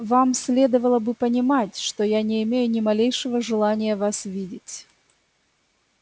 вам следовало бы понимать что я не имею ни малейшего желания вас видеть